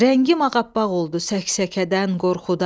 Rəngim ağappaq oldu səksəkədən, qorxudan.